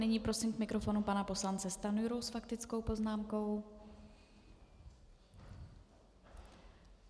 Nyní prosím k mikrofonu pana poslance Stanjuru s faktickou poznámkou.